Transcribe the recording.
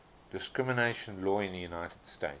discrimination law in the united states